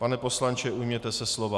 Pane poslanče, ujměte se slova.